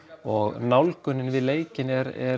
og nálgunin við leikinn